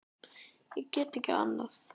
Ég get ekki annað.